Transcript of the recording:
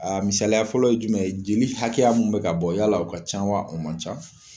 A misaliya fɔlɔ ye jumɛn ye jeli hakɛya mun be ka bɔ yala o ka ca wa o man ca